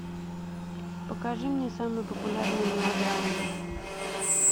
покажи мне самые популярные мелодрамы